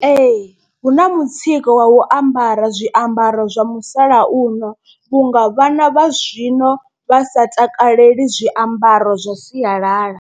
Ee hu na mutsiko wa u ambara zwiambaro zwa musalauno. Vhunga vhana vha zwino vha sa takaleli zwiambaro zwa sialala.